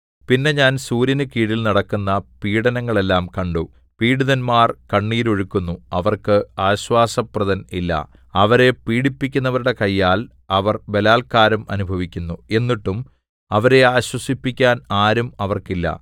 പിന്നെ ഞാൻ സൂര്യനുകീഴിൽ നടക്കുന്ന പീഡനങ്ങളെല്ലാം കണ്ടു പീഡിതന്മാർ കണ്ണുനീരൊഴുക്കുന്നു അവർക്ക് ആശ്വാസപ്രദൻ ഇല്ല അവരെ പീഡിപ്പിക്കുന്നവരുടെ കയ്യാൽ അവർ ബലാല്ക്കാരം അനുഭവിക്കുന്നു എന്നിട്ടും അവരെ ആശ്വസിപ്പിക്കാൻ ആരും അവർക്കില്ല